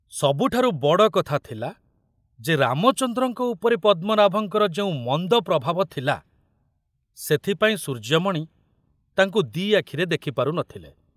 ସବୁଠାରୁ ବଡ଼ କଥା ଥିଲା ଯେ ରାମଚନ୍ଦ୍ରଙ୍କ ଉପରେ ପଦ୍ମନାଭଙ୍କର ଯେଉଁ ମନ୍ଦ ପ୍ରଭାବ ଥିଲା, ସେଥିପାଇଁ ସୂର୍ଯ୍ୟମଣି ତାଙ୍କୁ ଦି ଆଖିରେ ଦେଖିପାରୁ ନ ଥିଲେ।